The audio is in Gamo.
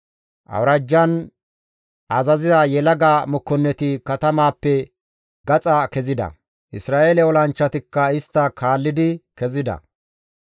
Awuraajjan azaziza yelaga mokkonneti katamaappe gaxa kezida; Isra7eele olanchchatikka istta kaallidi kezida.